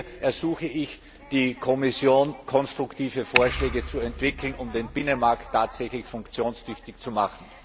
Hier ersuche ich die Kommission, konstruktive Vorschläge auszuarbeiten, um den Binnenmarkt tatsächlich funktionstüchtig zu machen!